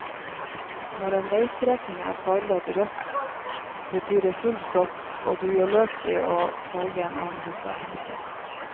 Når en veistrekning er farvet rød, betyr det full stopp, og du gjør lurt i å velge en annen rute.